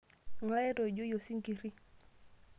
Ng'ae etoijoyie osinkiri?